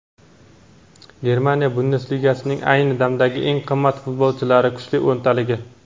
Germaniya Bundesligasining ayni damdagi eng qimmat futbolchilari kuchli o‘ntaligi.